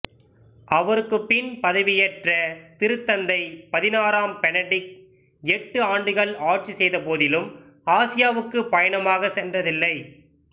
அவருக்குப் பின் பதவியேற்ற திருத்தந்தை பதினாறாம் பெனடிக்ட் எட்டு ஆண்டுகள் ஆட்சி செய்த போதிலும் ஆசியாவுக்குப் பயணமாகச் சென்றதில்லை